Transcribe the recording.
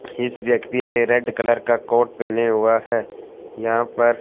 इस व्यक्ति ने रेड कलर का कोट पहने हुआ है यहां पर--